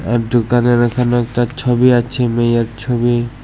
আর দুকানের এখানে একটা ছবি আছে মেয়ের ছবি।